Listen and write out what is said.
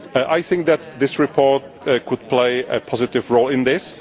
I think that this report could play a positive role in